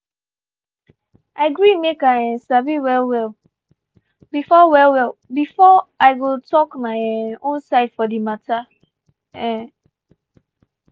i gree make i um sabi well well before well well before i go talk my um own side for di matter. um